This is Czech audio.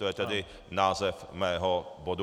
To je tedy název mého bodu.